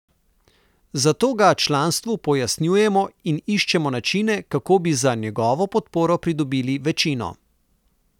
Zato ga članstvu pojasnjujemo in iščemo načine, kako bi za njegovo podporo pridobili večino.